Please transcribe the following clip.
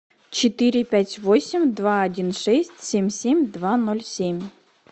четыре пять восемь два один шесть семь семь два ноль семь